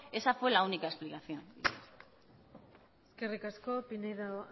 esa fue la única explicación eskerrik asko pinedo